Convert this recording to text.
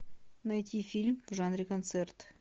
найти фильм в жанре концерт